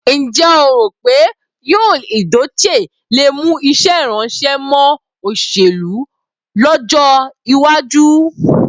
Ǹjẹ́ o rò pé Yul Edochie le mú iṣẹ́ ìránṣẹ́ mọ́ òṣèlú lọ́jọ́ iwájú?